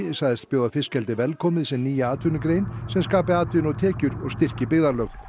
sagðist bjóða fiskeldið velkomið sem nýja atvinnugrein sem skapi atvinnu og tekjur og styrki byggðalög